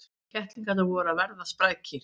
Kettlingarnir voru að verða sprækir.